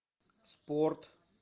спорт